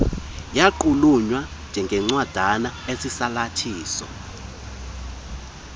yaqulunqwa njengencwadana esisalathiso